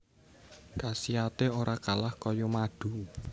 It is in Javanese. Khasiaté ora kalah kaya madu